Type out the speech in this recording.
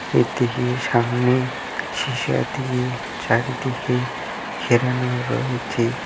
এদিকে সামনে সিসা দিয়ে চারিদিকে ঘেরানো রয়েছে ।